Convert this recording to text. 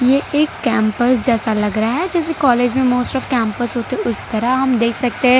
ये एक कैंपस जैसा लग रहा है जैसे कॉलेज में मोस्ट ऑफ कैंपस होते हैं उस तरह हम देख सकते हैं।